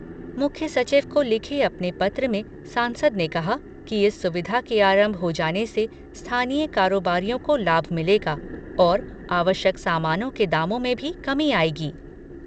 मुख्य सचिव को लिखे अपने पत्र में सांसद ने कहा कि इस सुविधा के आरंभ हो जाने से स्थानीय कारोबारियों को लाभ मिलेगा और आवश्यक सामानों के दामों में भी कमी आएगी।